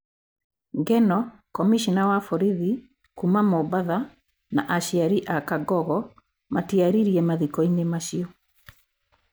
Ngeno, komĩcona wa borithi kuuma Mombatha na aciari a Kangogo matiaririe mathiko-inĩ acio.